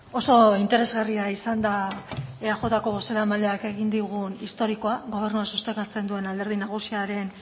oso interesgarria izan da eajko bozeramaileak egin digun historikoa gobernua sostengatzen duen alderdi